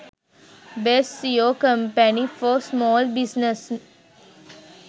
best seo company for small business